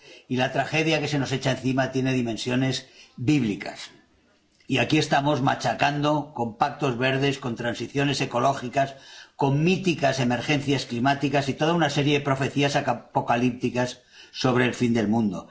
Y la tragedia que se nos echa encima tiene dimensiones bíblicas, y aquí estamos machacando con pactos verdes, con transiciones ecológicas, con míticas emergencias climáticas y toda una serie de profecías apocalípticas sobre el fin del mundo.